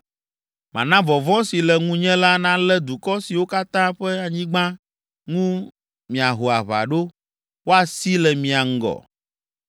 “Mana vɔvɔ̃ si le ŋunye la nalé dukɔ siwo katã ƒe anyigba ŋu miaho aʋa ɖo, woasi le mia ŋgɔ.